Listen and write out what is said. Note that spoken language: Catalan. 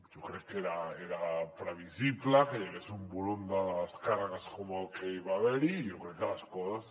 jo crec que era previsible que hi hagués un volum de descàrregues com el que hi va haver i jo crec que les coses